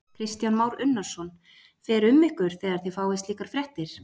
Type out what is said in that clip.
Kristján Már Unnarsson: Fer um ykkur þegar þið fáið slíkar fréttir?